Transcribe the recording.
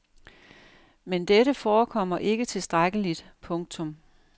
Men dette forekommer ikke tilstrækkeligt. punktum